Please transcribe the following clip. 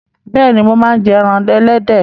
Bẹ́ẹ̀ni, mo máa ń jẹ ẹran ẹlẹ́dẹ̀